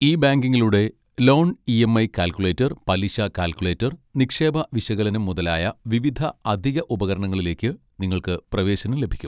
E ബാങ്കിംഗിലൂടെ, loan EMI. Calculator, പലിശ calculator, നിക്ഷേപ വിശകലനം മുതലായ വിവിധ അധിക ഉപകരണങ്ങളിലേക്ക് നിങ്ങൾക്ക് പ്രവേശനം ലഭിക്കും.